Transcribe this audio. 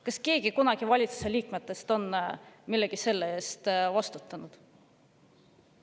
Kas keegi valitsuse liikmetest on kunagi millegi sellise eest vastutanud?